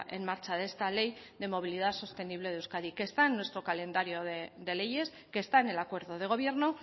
en marcha de esta ley de movilidad sostenible de euskadi que está en nuestro calendario de leyes que está en el acuerdo de gobierno